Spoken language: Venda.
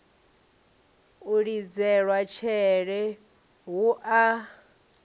u lidzelwa tshele hu a